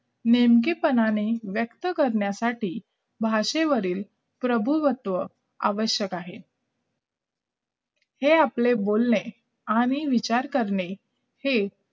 नेमके प्रमाणे व्यक्त करण्यासाठी भाषेवरती प्रभू वक्त आवश्यक आहे हे आपले बोलणे आणि विचार करणे हे